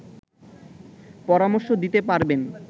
পরামর্শ দিতে পারবেন